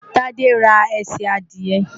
Tádé ra ẹsẹ̀ adìẹ.